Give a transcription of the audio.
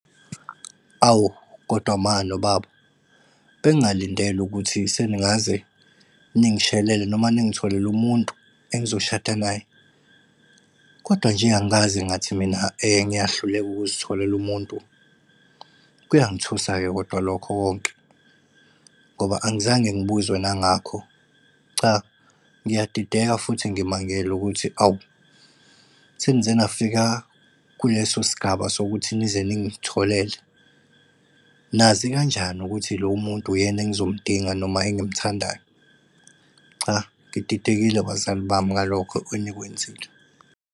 Awu kodwa ma nobaba, bengingalindele ukuthi seningaze ningishelele noma ningitholele umuntu engizoshada naye. Kodwa nje angikaze ngathi mina ngiyahluleka ukuzitholela umuntu. Kuyangithusa-ke kodwa lokho konke, ngoba angizange ngibuzwe nangakho. Cha, ngiyadideka futhi ngimangele ukuthi awu, senize nafika kuleso sigaba sokuthi nize ningitholele. Nazi kanjani ukuthi lowo muntu uyena engizomudinga noma engimthandayo? Cha, ngididekile bazali bami ngalokho enikwenzile.